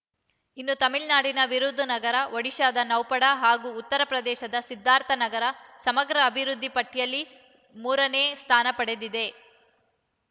ಇನ್ನು ತಮಿಳುನಾಡಿನ ವಿರುಧುನಗರ ಒಡಿಶಾದ ನೌಪಾಡ ಹಾಗೂ ಉತ್ತರ ಪ್ರದೇಶದ ಸಿದ್ಧಾರ್ಥನಾಥ ನಗರ ಸಮಗ್ರ ಅಭಿವೃದ್ಧಿ ಪಟ್ಟಿಯಲ್ಲಿ ಮೂರನೇ ಸ್ಥಾನ ಪಡೆದಿವೆ